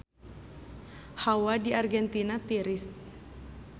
Hawa di Argentina tiris